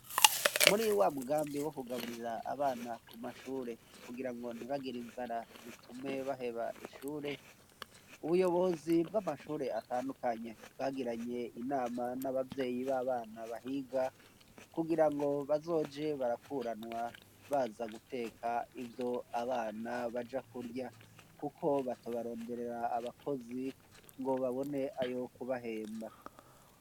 Muri wa mugambi wo kugaburira abana ku mashure kugira ngo ntibagira inzara bitume baheba ishure ubuyobozi bw'amashure atandukanye bwagiranye inama n'ababyeyi b'abana bahiga kugira ngo bazoje barakuranwa baza guteka ibyo abana baja kurya kuko batobaronderera abakozi ngo babone ayo kubahemba.